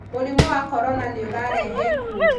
mũrimũ wa korona nĩ ũrarehe ikuũ